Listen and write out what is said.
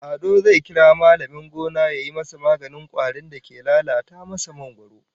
Ado zai kira mallamin gona yayi masa maganin kwarin da ke lalata masa mangwaro